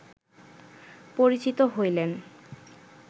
পরিচিত হইলেন